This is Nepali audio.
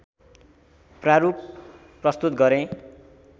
प्रारूप प्रस्तुत गरे